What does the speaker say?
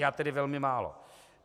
Já tedy velmi málo.